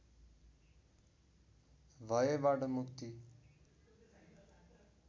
भयबाट मुक्ति